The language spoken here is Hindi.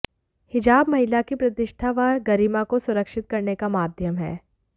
हिजाब महिला की प्रतिष्ठा व गरिमा को सुरक्षित करने का माध्यम है